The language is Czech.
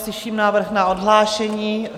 Slyším návrh na odhlášení.